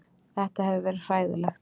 Þetta hefur verið hræðilegt